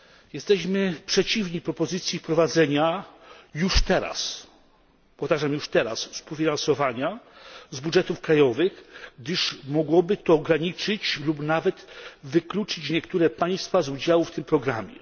Jesteśmy przeciwni propozycji wprowadzenia już teraz, powtarzam już teraz, współfinansowania z budżetów krajowych, gdyż mogłoby to ograniczyć lub nawet wykluczyć niektóre państwa z udziału w tym programie.